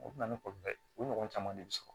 O bɛ na ne kɔ dɛ o ɲɔgɔn caman de bɛ sɔrɔ